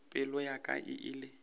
pelo ya ka e ile